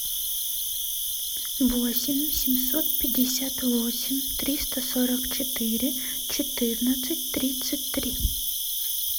восемь семьсот пятьдесят восемь триста сорок четыре четырнадцать тридцать три